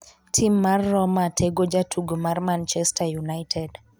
Tim mar Roma tego jatugo mar Man chester united